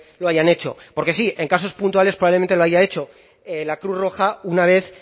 lo hayan hecho porque sí en casos puntuales probablemente lo haya hecho la cruz roja una vez